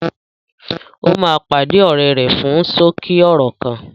Ó máa pàdé ọ̀rẹ́ rẹ fún ṣókí ọ̀rọ̀ kan